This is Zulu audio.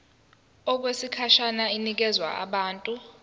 okwesikhashana inikezwa abantu